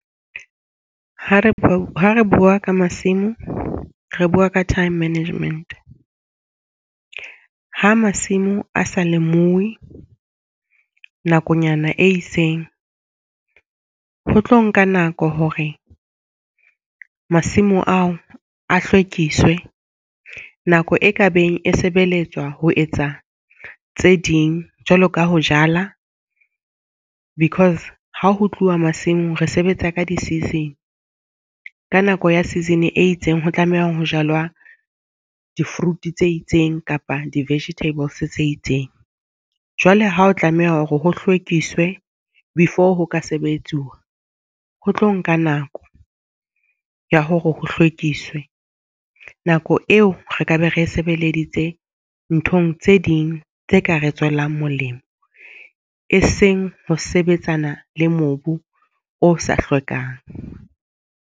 Ha re bua ka masimo, re bua ka time management. Ha masimo a sa lemuwi nakonyana e itseng, ho tlo nka nako hore masimo ao a hlwekiswe nako e ka beng e sebeletswa ho etsa tse ding jwalo ka ho jala. Because ha ho tluwa masimong. Re sebetsa ka di-season ka nako ya season e itseng, ho tlameha ho jalwa di-fruit tse itseng kapa di-vegetables tse itseng. Jwale ha o tlameha hore ho hlwekise before ho ka sebetsuwa ho tlo nka nako ya hore ho hlwekiswe. Nako eo re ka be re sebeleditse nthong tse ding tse ka re tswelang molemo, e seng ho sebetsana le mobu o sa hlwekang.